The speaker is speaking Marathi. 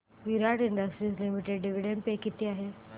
विराट इंडस्ट्रीज लिमिटेड डिविडंड पे किती आहे